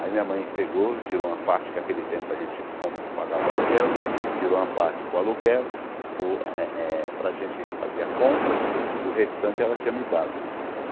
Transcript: Aí minha mãe pegou, tirou uma parte que naquele tempo a gente com pagava aluguel né, tirou uma parte para o aluguel, para o eh eh para gente fazer a compra, e o restante ela tinha me dado.